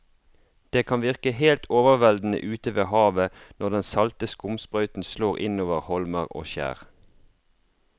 Det kan virke helt overveldende ute ved havet når den salte skumsprøyten slår innover holmer og skjær.